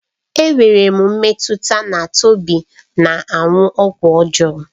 Enwere m mmetụta na Tobechukwu na-aṅụ ọgwụ ọjọọ